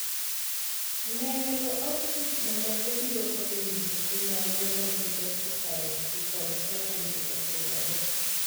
Leero outputs mamoko biro konyo nyiso tim mage magi justified to kod ka chandruok otimore.